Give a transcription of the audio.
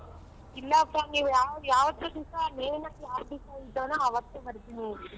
ಇಲ್ಲಪ್ಪಾ ನೀವು ಯಾವ್ ಯಾವತ್ತೂ ದಿವಸ main ಆಗಿ ಯಾವ್ ದಿವಸ ಅವತ್ತೇ ಬರ್ತೀನಿ.